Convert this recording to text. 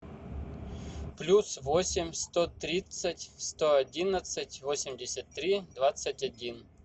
плюс восемь сто тридцать сто одиннадцать восемьдесят три двадцать один